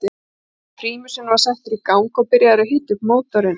Prímusinn var settur í gang og byrjað að hita upp mótorinn.